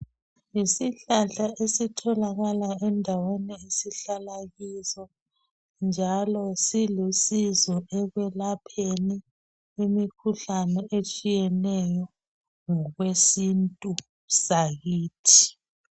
Yisihlahla esitholakala endaweni esihlala kizo njalo silusizo ekwelapheni imikhuhlane etshiyeneyo ngokwesintu sakithi.